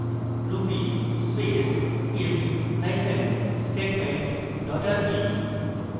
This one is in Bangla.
ruby space if hyphen statement dot rb